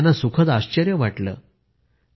शेतकऱ्यांना सुखद आश्चर्य वाटले